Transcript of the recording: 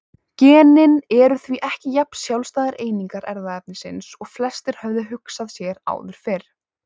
Genin eru því ekki jafn sjálfstæðar einingar erfðaefnisins og flestir höfðu hugsað sér áður fyrr.